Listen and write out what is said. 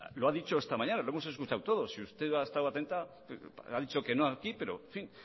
lo ha dicho esta mañana lo hemos escuchado todos si usted ha estado atenta ha dicho que no aquí pero en fin